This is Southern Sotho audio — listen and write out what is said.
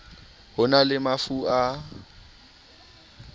ho na le mafu a